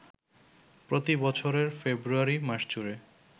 প্রতি বছরের ফেব্রুয়ারি মাসজুড়ে